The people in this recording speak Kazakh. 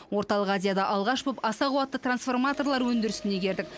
орталық азияда алғаш болып аса қуатты трансформаторлар өндірісін игердік